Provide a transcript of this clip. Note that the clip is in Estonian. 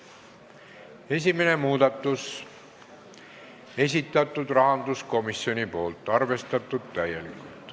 Esimese muudatusettepaneku on esitanud rahanduskomisjon, arvestatud täielikult.